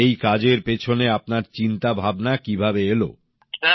আর এই কাজের পেছনে আপনার চিন্তাভাবনা কীভাবে এলো